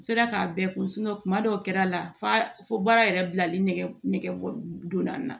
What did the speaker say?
N sera k'a bɛɛ kun kuma dɔw kɛra a la fa fo baara yɛrɛ bilali nɛgɛ donna n na